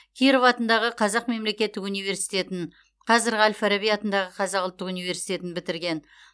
киров атындағы қазақ мемлекеттік университетін қазіргі әл фараби атындағы қазақ ұлттық университетін бітірген